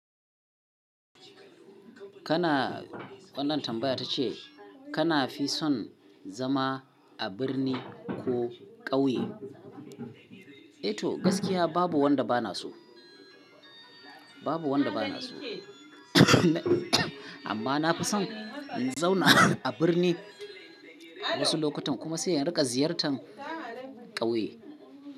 Kana, wannan tambaya ta ce kana fi son zama a birni ko ƙauye? E to gaskiya babu wanda bana so, babu wanda bana so amma na fi son in zauna a birni wasu lokutan kuma sai in rika ziyartar ƙauye.